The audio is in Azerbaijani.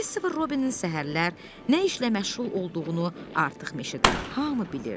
Kristofer Robinin səhərlər nə işlə məşğul olduğunu artıq meşədə hamı bilirdi.